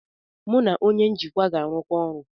Mụ na onye njikwa ga-arụkọ ọrụ.